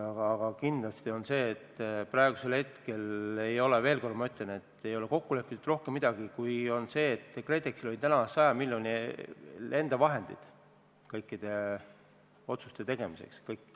Aga kindlasti on oluline see, et praegusel hetkel – ma ütlen veel kord – ei ole kokku lepitud midagi rohkemat kui see, et KredExil oli täna 100 miljoni ulatuses enda vahendeid kõikide otsuste tegemiseks.